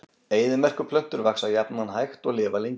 Eyðimerkurplöntur vaxa jafnan hægt og lifa lengi.